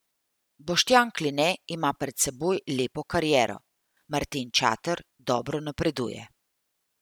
Boštjan Kline ima pred seboj lepo kariero, Martin Čater dobro napreduje.